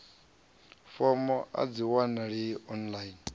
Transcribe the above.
fomo a dzi wanalei online